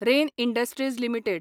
rain Industries limited